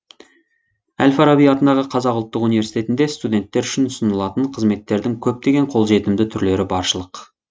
әл фараби атындағы қазақ ұлттық университетінде студенттер үшін ұсынылатын қызметтердің көптеген қолжетімді түрлері баршылық